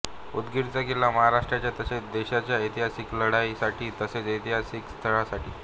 उदगीरचा किल्ला महाराष्ट्राच्या तसेच देशाच्या ऐतिहासिक लढाईसाठी तसेच ऐतिहासिक स्थळासाठी